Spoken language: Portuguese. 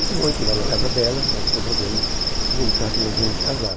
Uma noite lá na casa dela, nós resolvemos comunicar que nós íamos casar.